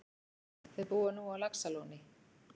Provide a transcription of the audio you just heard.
Þau búa nú á Laxalóni.